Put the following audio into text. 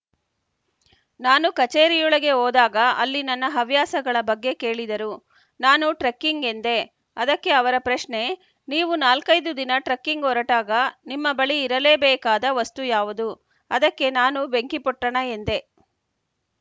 ನಾನು ಕಚೇರಿಯೊಳಗೆ ಹೋದಾಗ ಅಲ್ಲಿ ನನ್ನ ಹವ್ಯಾಸಗಳ ಬಗ್ಗೆ ಕೇಳಿದರು ನಾನು ಟ್ರೆಕ್ಕಿಂಗ್‌ ಎಂದೆ ಅದಕ್ಕೆ ಅವರ ಪ್ರಶ್ನೆ ನೀವು ನಾಲ್ಕೈದು ದಿನ ಟ್ರೆಕ್ಕಿಂಗ್‌ ಹೊರಟಾಗ ನಿಮ್ಮ ಬಳಿ ಇರಲೇಬೇಕಾದ ವಸ್ತು ಯಾವುದು ಅದಕ್ಕೆ ನಾನು ಬೆಂಕಿಪೊಟ್ಟಣ ಎಂದೆ